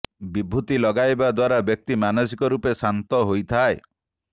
ବିଭୁତି ଲଗାଇବା ଦ୍ବାରା ବ୍ୟକ୍ତି ମାନସିକ ରୂପେ ଶାନ୍ତ ହୋଇଥାଏ